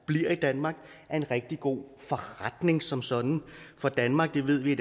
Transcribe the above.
bliver i danmark er en rigtig god forretning som sådan for danmark det ved vi